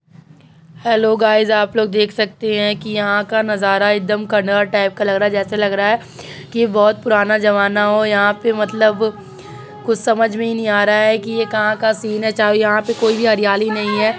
Hello guys आप लोग देख सकते है की यह का नजारा एक दम कारन अ टाईप का लग रहा है जेसे लग रहा है की बहोत पुराना जामना हो। यहाँ पे मतलब कुछ समझ में ही नहीं आ रहा है की यह कहाँ का सिन है। यहाँ पे कोई भी हरियाली नहीं है।